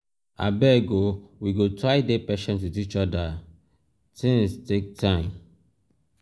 abeg o we go try dey patient wit each oda tins um take time.